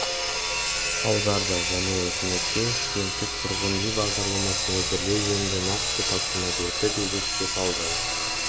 аударды және үкіметке студенттік тұрғын үй бағдарламасын әзірлеу жөнінде нақты тапсырма берді деп еске салды